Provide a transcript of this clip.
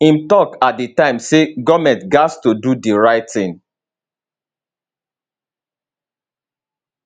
im tok at di time say goment gatz to do di right tin